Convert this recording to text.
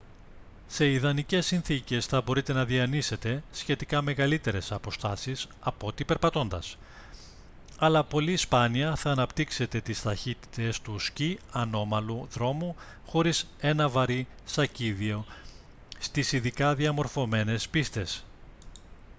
σε ιδανικές συνθήκες θα μπορείτε να διανύσετε σχετικά μεγαλύτερες αποστάσεις απ' ό,τι περπατώντας - αλλά πολύ σπάνια θα αναπτύξετε τις ταχύτητες του σκι ανώμαλου δρόμου χωρίς ένα βαρύ σακίδιο στις ειδικά διαμορφωμένες πίστες